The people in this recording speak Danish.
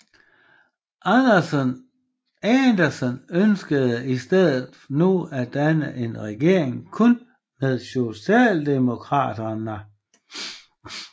Andersson ønskede i stedet nu at danne en regering kun med Socialdemokraterna